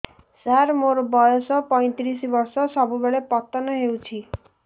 ସାର ମୋର ବୟସ ପୈତିରିଶ ବର୍ଷ ସବୁବେଳେ ପତନ ହେଉଛି